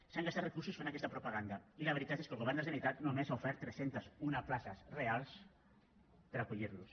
s’han gastat recursos fent aquesta propaganda i la veritat és que el govern de la generalitat només ha ofert tres cents i un places reals per acollir los